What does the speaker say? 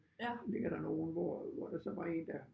Ligger der nogle hvor hvor der så var en der